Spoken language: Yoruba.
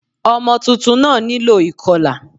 Ọmọ tuntun náà nílò ìkọlà